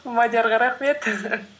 мадиарға рахмет